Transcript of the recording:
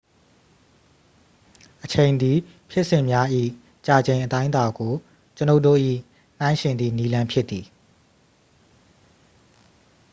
အချိန်သည် ဖြစ်စဉ်များ၏ ကြာချိန် အတိုင်းအတာ ကို ကျွန်ုပ်တို့၏ နှိုင်းယှဉ်သည့် နည်းလမ်းဖြစ်သည်။